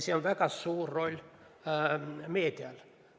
Siin on väga suur roll meedial.